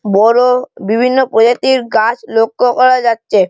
বড় বিভিন্ন প্রজাতির গাছ লক্ষ্য করা যাচ্ছে।